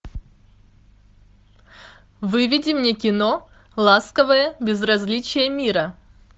выведи мне кино ласковое безразличие мира